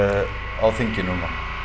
á þinginu núna